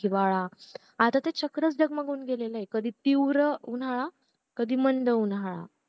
हिवाळा आता ते चक्रच डगमगुण गेलाय कधी तीव्र उन्हाळा कधी मंद उन्हाळा